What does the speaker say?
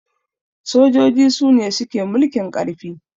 sojoji Sune suke mulkin karfi